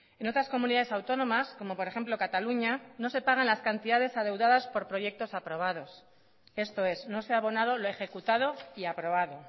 en otras comunidades autónomas como por ejemplo cataluña no se pagan las cantidades adeudadas por proyectos aprobados esto es no se ha abonado lo ejecutado y aprobado